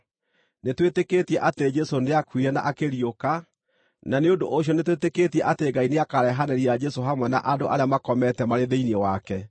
Nĩtwĩtĩkĩtie atĩ Jesũ nĩakuire na akĩriũka, na nĩ ũndũ ũcio nĩtwĩtĩkĩtie atĩ Ngai nĩakarehanĩria Jesũ hamwe na andũ arĩa makomete marĩ thĩinĩ wake.